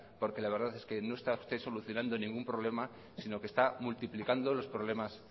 porque la verdad no está usted solucionando ningún problema sino que está multiplicando los problemas